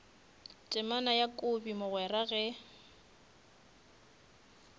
temana ya kobi mogwera ge